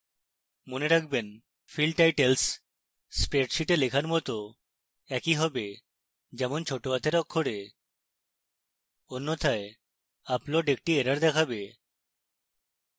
মনে রাখবেন field titles স্প্রেডশীটে লেখার মত একই have যেমন note হাতের অক্ষরে